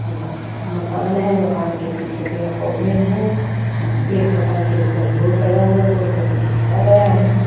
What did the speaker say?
मकान है मकान के पीछे पेड़ पौधे हैं एक मकान के ऊपर बोर्ड लगा हुआ बोर्ड पे कुछ लिखा गया है।